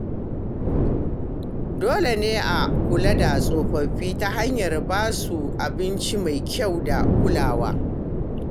Dole ne a kula da tsofaffi ta hanyar ba su abinci mai kyau da kulawa.